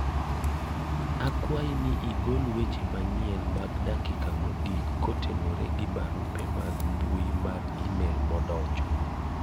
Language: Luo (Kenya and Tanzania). akwayi ni igol weche manyien mag dakika mogik kotenore gi barupe mag mbui mar email madonjo